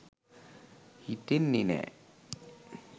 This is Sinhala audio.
හිතෙන්නේ නෑ.